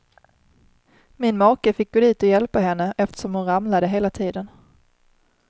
Min make fick gå dit och hjälpa henne eftersom hon ramlade hela tiden.